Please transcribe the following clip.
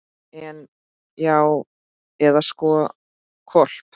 En. já, eða sko hvolp.